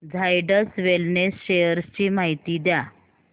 Zydus Wellness shares ची माहिती द्या